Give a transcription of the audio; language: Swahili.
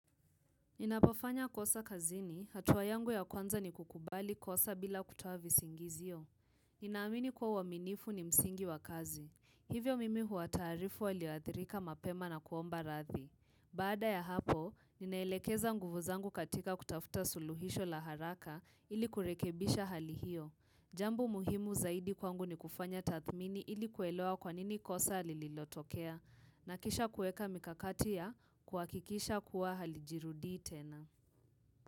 Ninapofanya kosa kazini, hatuwa yangu ya kwanza ni kukubali kosa bila kutuo vi singizio. Ninaamini kwa uaminifu ni msingi wa kazi. Hivyo mimi huatarifu walioathirika mapema na kuomba radhi. Baada ya hapo, ninaelekeza nguvu zangu katika kutafuta suluhisho la haraka ili kurekebisha hali hiyo. Jambo muhimu zaidi kwangu ni kufanya tathmini ili kuelewa kwanini kosa lililotokea. Na kisha kueka mikakati ya kuhakikisha kuwa halijirudi tena.